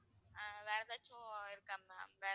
ஆஹ் வேற எதாச்சும் இருக்கா ma'am